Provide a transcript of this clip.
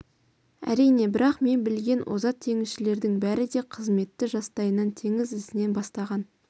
әрине бірақ мен білген озат теңізшілердің бәрі де қызметті жастайынан теңіз ісінен бастаған